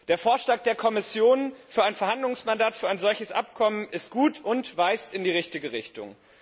Der Vorschlag der Kommission für ein Verhandlungsmandat für ein solches Abkommen ist gut und weist in die richtige Richtung.